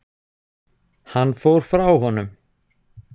Hann fór frá honum.